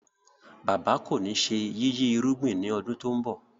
Bàbá kọ ní ṣe yiyi irúgbìn ni ọdún to ń bó.